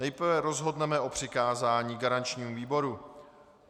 Nejprve rozhodneme o přikázání garančnímu výboru.